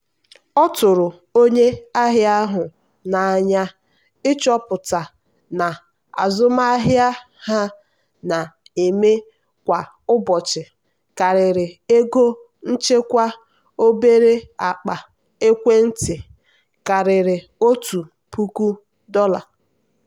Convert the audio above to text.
ọ tụrụ onye ahịa ahụ n'anya ịchọpụta na azụmahịa ha na-eme kwa ụbọchị karịrị ego nchekwa obere akpa ekwentị karịa ọtụtụ puku dollar.